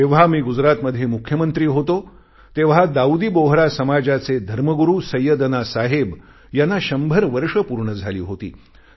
जेव्हा मी गुजरातमध्ये मुख्यमंत्री होतो तेव्हा दाऊदी बोहरा समाजचे धर्मगुरू सैय्यदना साहेब यांना शंभर वर्ष पूर्ण झाली होती